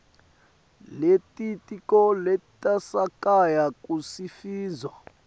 lelitiko letasekhaya kusifundza